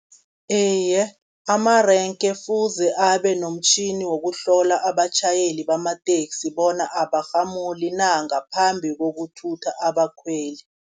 Iye, amarenke kufuze abe nomtjhini wokuhlola abatjhayeli bamateksi, bona abarhamuli na ngaphambi kokuthutha abakhweli.